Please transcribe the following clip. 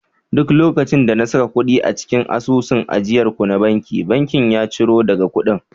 duk lokacin da na saka kudi a cikin asusun ajiyar ku na banki, bankin ya ciro daga kudin